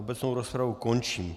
Obecnou rozpravu končím.